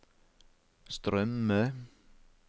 strømme